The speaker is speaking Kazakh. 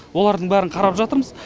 олардың барлығын қарап жатырмыз